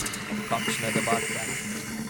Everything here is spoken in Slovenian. Kakšne debate!